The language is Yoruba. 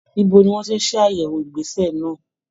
Ibo ni wọ́n ti ṣàyẹ̀wò ìgbésẹ̀ náà?